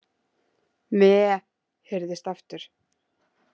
Meee, heyrðist aftur.